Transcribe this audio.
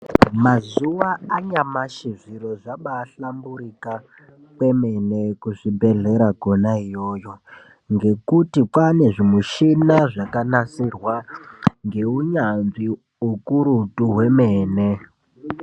Mazuwa anyamushi zviro zvabaahlamburika kwemene kuzvibhedhlera kwona iyoyo ngekuti kwaane zvimichini zvakanasirwa ngeunyanzvi ukurutu kwemene.